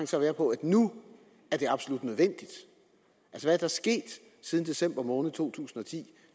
så være på at nu er det absolut nødvendigt hvad er der sket siden december måned to tusind og ti